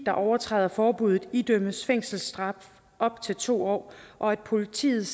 der overtræder forbuddet idømmes fængselsstraf op til to år og at politiet